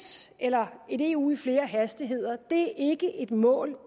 eller et eu i flere hastigheder er ikke et mål